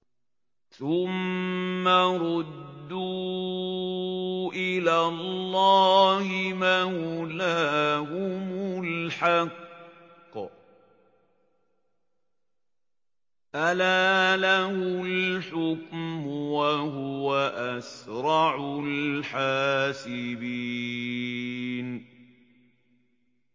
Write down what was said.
ثُمَّ رُدُّوا إِلَى اللَّهِ مَوْلَاهُمُ الْحَقِّ ۚ أَلَا لَهُ الْحُكْمُ وَهُوَ أَسْرَعُ الْحَاسِبِينَ